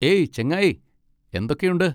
ഏയ് ചെങ്ങായി, എന്തൊക്കെയുണ്ട്?